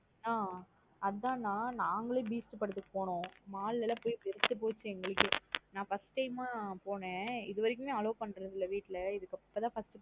ஆஹ் அதான் ந நாங்களும் Beast படதுக்கு போனோம். mall லாம் போய் வெறுத்து போச்சு எங்களுக்கே நா first time அஹ் போனேன். இது வரைக்கும் மே allow பண்றது இல்ல வீடல. இதுகப்றோம் தான் first time போனேனா.